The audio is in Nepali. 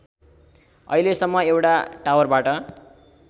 अहिलेसम्म एउटा टावरबाट